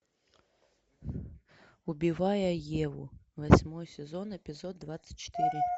убивая еву восьмой сезон эпизод двадцать четыре